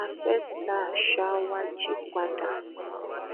a fẹẹ ta àṣà wa jí padà